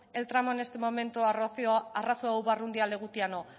el tramo en este momento a legutiano